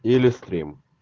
телестрим